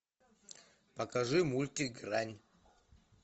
покажи мультик грань